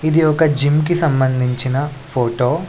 ఇది ఒక జిమ్ కి సంభందించిన ఫోటో .